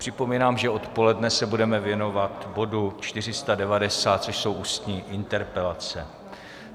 Připomínám, že odpoledne se budeme věnovat bodu 490, což jsou ústní interpelace.